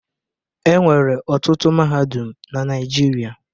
E nwere ọtụtụ mahadum na Naịjirịa.